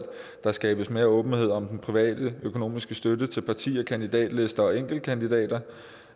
der skabes mere åbenhed om den private økonomiske støtte til partier kandidatlister og enkeltkandidater